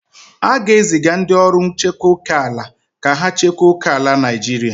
A ga-eziga ndị ọrụ nchekwa oke ala ka ha chekwa oke ala Naijiria.